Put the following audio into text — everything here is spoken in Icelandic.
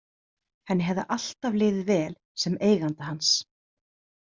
Henni hafði alltaf liðið vel sem eiganda hans.